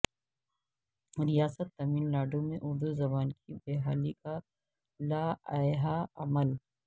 ریاست تمل ناڈو میں اردو زبان کی بحالی کا لائحہ عمل